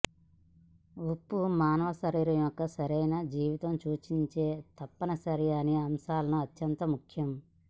ఉప్పు మానవ శరీరం యొక్క సరైన జీవితం సూచించే తప్పనిసరి అని అంశాలను అత్యంత ముఖ్యం